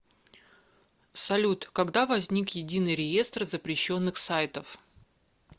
салют когда возник единый реестр запрещенных сайтов